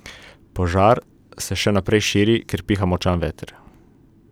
Požar se še naprej širi, ker piha močan veter.